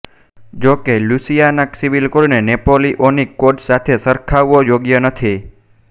જો કે Louisiana civil કોડને નેપોલિઓનિક કોડ સાથે સરખાવવો યોગ્ય નથી